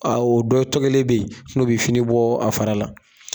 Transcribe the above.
A o dɔ be yen n'o be fini bɔ a fara la.